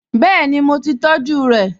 Bẹ́ẹ̀ni, mo ti tọjú rẹ̀?